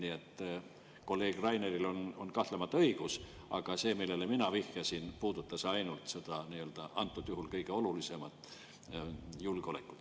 Nii et kolleeg Rainil on kahtlemata õigus, aga see, millele mina vihjasin, puudutas ainult seda antud juhul kõige olulisemat – julgeolekut.